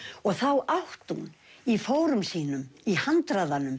þá átti hún í fórum sínum í handraðanum